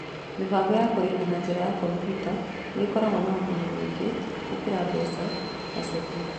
Mĩbango ya kũrĩha na njĩra ya kompiuta nĩ ĩkoragwo na ũguni mũingĩ gũkĩra mbeca na ceki.